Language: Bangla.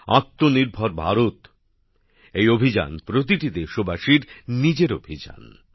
আত্মনির্ভর ভারত এই অভিযান প্রতিটি দেশবাসীর নিজের অভিযান